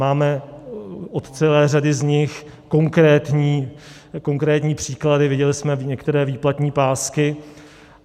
Máme od celé řady z nich konkrétní příklady, viděli jsme některé výplatní pásky.